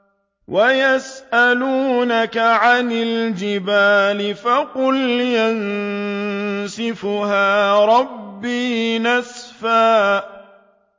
وَيَسْأَلُونَكَ عَنِ الْجِبَالِ فَقُلْ يَنسِفُهَا رَبِّي نَسْفًا